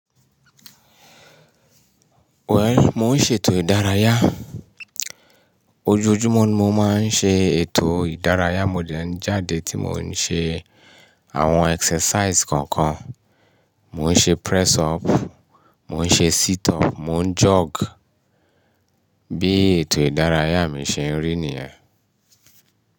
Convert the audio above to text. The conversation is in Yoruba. Wẹ̀l, mò ń ṣe ètò ìdárayá. Ojojúmọ́ ni mo máa ń ṣe ètò ìdárayá. Mo deń jáde tí mò ń ṣe àwọn exercise kọ̀ọ̀kan. Mò ń ṣe press up, mò ń ṣe sit up, mò ń jog. Bí ètò ìdárayá mi ṣe ń rí nìyẹn.